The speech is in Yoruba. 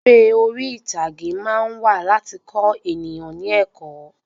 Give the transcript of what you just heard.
Eré orí ìtàgé máa ń wà láti kọ eniyan ni ẹ̀kọ́